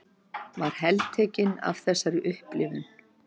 Var heltekin af þessari upplifun.